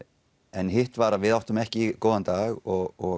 en hitt var að við áttum ekki góðan dag og